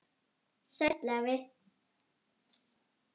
Sæll afi.